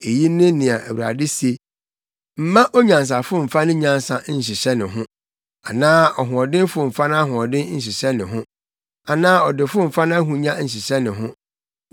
Eyi ne nea Awurade se: “Mma onyansafo mfa ne nyansa nhyehyɛ ne ho anaa ɔhoɔdenfo mfa nʼahoɔden nhyehyɛ ne ho anaa ɔdefo mfa nʼahonya nhyehyɛ ne ho.